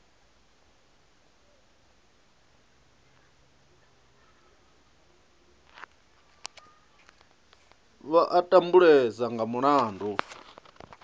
vha a tambulesa nga mulandu